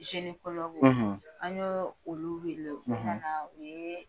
an y'o olu wele k'u ka na u ye